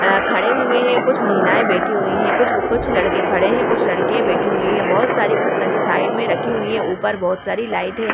अ खड़े हुए है कुछ महिलाये बैठी हुई हैं कुछ कुछ लड़के खड़े हैं कुछ लड़के बैठे हुए हैं बहुत सारी पुस्तके साइड में रखी हुई हैं ऊपर बहुत सारी लाइट हैं ।